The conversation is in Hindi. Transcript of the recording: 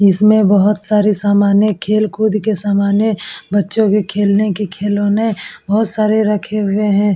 इसमें बहोत सारे सामाने खेल कूद के सामाने बच्चो के खेलने के खिलोने बहोत सारे रखे हुए है।